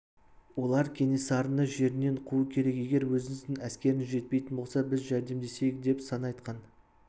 олар кенесарыны орынбор жерінен қуу керек егер өзіңіздің әскеріңіз жетпейтін болса біз жәрдемдесейік деп сан айтқан